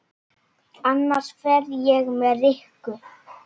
Annars fer ég með Rikku